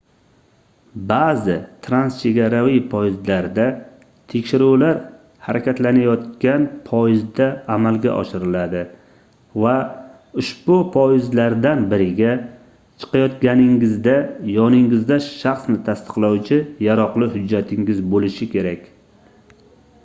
baʼzi transchegaraviy poyezdlarda tekshiruvlar harakatlanayotgan poyezdda amalga oshiriladi va ushbu poyezdlardan biriga chiqayotganingizda yoningizda shaxsni tasdiqlovchi yaroqli hujjatingiz boʻlishi kerak